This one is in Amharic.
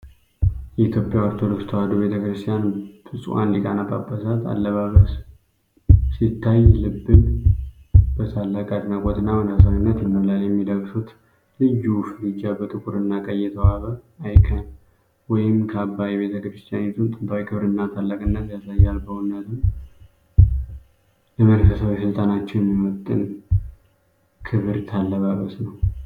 የኢትዮጵያ ኦርቶዶክስ ቤተ-ክርስቲያን ብፁዓን ሊቃነ ጳጳሳት አለባበስ ሲታይ ልብን በታላቅ አድናቆትና መንፈሳዊነት ይሞላል። የሚለብሱት ልዩ ፋሪጃ፣ በጥቁርና ቀይ የተዋበ አይከን ወይም ካባ የቤተ ክርስቲያኒቱን ጥንታዊ ክብርና ታላቅነት ያሳያል። በእውነትም ለመንፈሳዊ ሥልጣናቸው የሚመጥን ክብርት አለባበስ ነው!